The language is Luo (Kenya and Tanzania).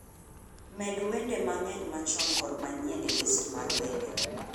med wende mang'eny machon kod manyien e list mar wende